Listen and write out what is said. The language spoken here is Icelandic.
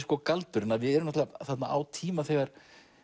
galdurinn við erum náttúrulega þarna á tíma þegar